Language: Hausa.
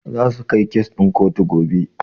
Zasu kai kes ɗin kotu gobe.